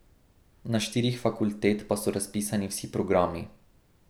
Na štirih fakultet pa so razpisani vsi programi.